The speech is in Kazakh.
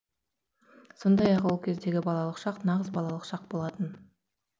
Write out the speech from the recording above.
сондай ақ ол кездегі балалық шақ нағыз балалық шақ болатын